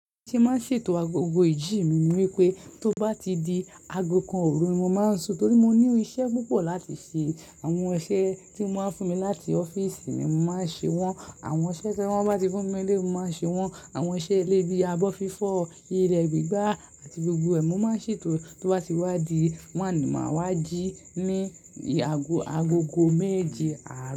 Ti máa ṣètò agogo ìjì mi ni wípé tó bá ti di ago kan òru ni mo máa ń sùn torí mo ní iṣẹ́ púpọ̀ láti ṣe. Àwọn iṣẹ́ tí wọ́n máa ń fún mi láti ọ́fíìsì mi mo máa ṣe wọ́n. Àwọn iṣẹ́ tí wọ́n bá ti fún mi nílé mo máa ṣe wọ́n. Àwọn iṣẹ́ ilé bíi abọ́-fífọ́, ile gbigba, àti gbogbo ẹ̀, mo máa ṣètò tó bá ti wá di wan máa wá jí ní agogo méje àárọ̀.